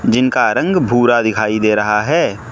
जिनका रंग भूरा दिखाई दे रहा है।